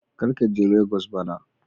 Kar ka je Legos bana.